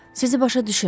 Sizi başa düşürəm.